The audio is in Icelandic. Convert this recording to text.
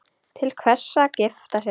Til hvers að gifta sig?